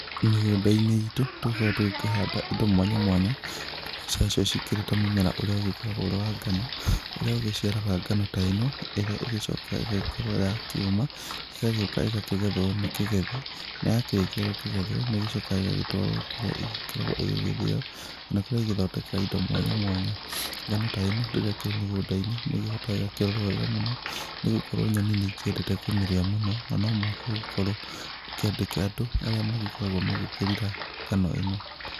Mĩgunda-inĩ itũ, tũkoragwo tũgĩkĩhanda indo mwanya mwanya, nacio cikĩrĩ ta mũmera ũrĩa ũgĩkoragwo ũrĩ wa ngano, ũrĩa ũgĩciaraga ngano ta ĩno, ĩrĩa ĩgĩcokaga ĩgagĩkorwo ya kĩũma, ĩgagĩũka ĩgakĩgethwo nĩ kĩgethi, na yakĩrĩkia gũkĩgethwo nĩ ĩgĩcokaga ĩgagĩtwarwo kũrĩa ĩgĩkoragwo ĩgĩgĩthĩo, kana kũrĩa igĩthondekaga indo mwanya mwanya. Ngano ta ĩno, rĩrĩa ĩkĩrĩ mũgũnda-inĩ, nĩ ĩgĩbataraga ĩgakĩrorwo wega mũno nĩ gũkorwo nyoni nĩ ikĩendete kũmĩrĩa mũno na no mũhaka ũgĩkorwo ũkĩandĩka andũ arĩa magĩkoragwo magĩkĩrora ngano ĩno.